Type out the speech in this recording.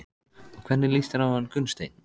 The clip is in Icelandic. Og hvernig líst þér á hann Gunnsteinn?